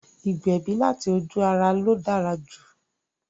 Ìgbẹ̀bí láti ojú-ara ló dára jù